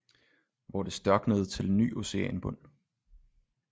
Hvor det størknede til ny oceanbund